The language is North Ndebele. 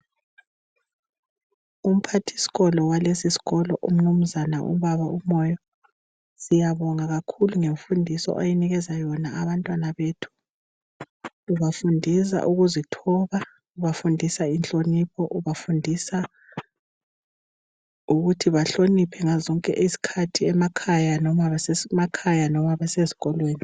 Umphathiskolo walesiskolo umnumnzane ubaba uMoyo siyabonga kakhulu ngemfundiso oyinikeza yona abantwana bethu ubafundisa ukuzithoba, ubafundisa inhlonipho, ubafundisa ukuthi bahloniphe ngazozonke izkhathi besemakhaya loba beseskolweni.